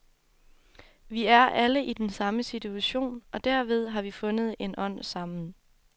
Vi er alle i den samme situation, og derved har vi fundet en ånd sammen.